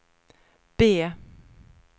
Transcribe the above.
B